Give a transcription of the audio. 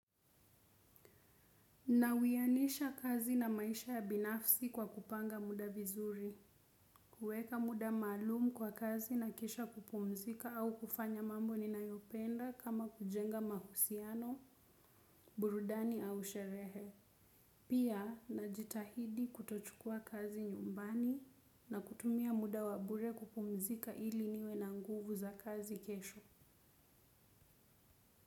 Nawianisha kazi na maisha ya binafsi kwa kupanga muda vizuri, kueka muda maalumu kwa kazi na kisha kupumzika au kufanya mambo ninayopenda kama kujenga mahusiano, burudani au sherehe. Pia najitahidi kutochukua kazi nyumbani na kutumia muda wa bure kupumzika ili niwe na nguvu za kazi kesho.